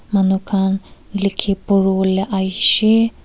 manu khan likhe pori bole ahe se.